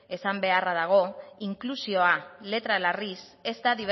esan beharra dago inklusioa letra larriz ez da